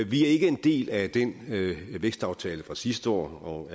vi er ikke en del af vækstaftalen fra sidste år og